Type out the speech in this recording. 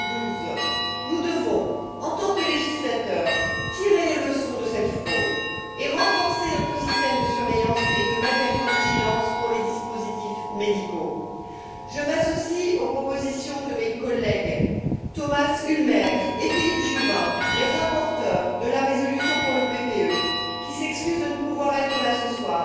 2012. Nous devons, en tant que législateur, tirer les leçons de cette fraude et renforcer notre système de surveillance et de matériovigilance pour les dispositifs médicaux. Je m'associe aux propositions de mes collègues Thomas Ulmer et Philippe Juvin, les rapporteurs de la résolution pour le PPE, qui s'excusent de ne pouvoir être là ce soir.